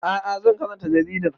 A'a zan karanta jaridar